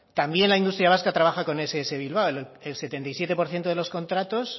también la industria vasca trabaja con ess bilbao el setenta y siete por ciento de los contratos